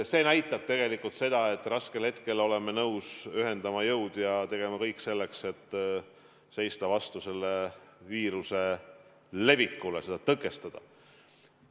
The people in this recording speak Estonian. See näitab seda, et raskel hetkel oleme nõus ühendama jõud ja tegema kõik selleks, et seista vastu viiruse levikule ja seda tõkestada.